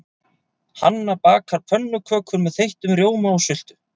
Hanna bakar pönnukökur með þeyttum rjóma og sultu.